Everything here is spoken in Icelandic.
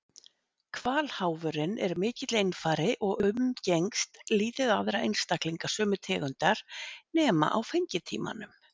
Hvalháfurinn er mikill einfari og umgengst lítið aðra einstaklinga sömu tegundar nema á fengitímanum.